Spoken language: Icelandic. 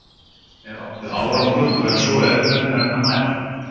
Er átt við árangur, og ef svo er, hvernig er hægt að mæla hann?